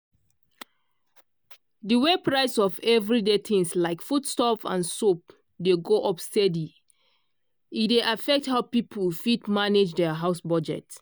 di way price of everyday things like foodstuff and soap dey go up steady e e dey affect how people fit manage their house budget.